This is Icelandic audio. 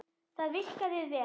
Það virkaði vel.